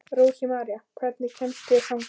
Rósmarý, hvernig kemst ég þangað?